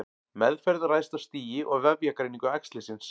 Meðferð ræðst af stigi og vefjagreiningu æxlisins.